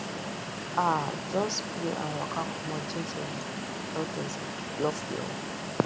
um just pray and waka comot jejeli if a tortoise block your way